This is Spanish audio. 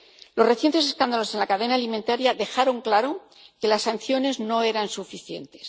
Los recientes escándalos en la cadena alimentaria dejaron claro que las sanciones no eran suficientes.